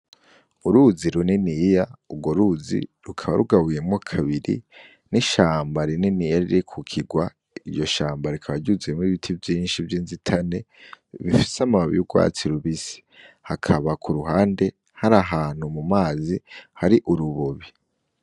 Uruzi runiniya ugwo ruzi rukaba rugabuyemwo kubiri n' ishamba rininiya riri kukigwa iryo shamba rikaba ryuzuyemwo ibiti vyinshi vyinzitane bifise amababi y'ugwatsi rubisi hakaba kuruhande hari ahantu mumazi hari urubobi.